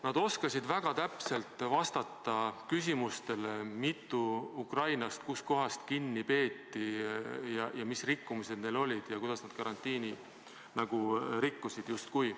Nad oskasid väga täpselt vastata küsimustele, mitu ukrainlast kus kohas kinni peeti, mis rikkumised neil olid ja kuidas nad justkui karantiinireegleid rikkusid.